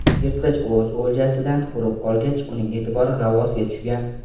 Yirtqich o‘z oljasidan quruq qolgach, uning e’tibori g‘avvosga tushgan.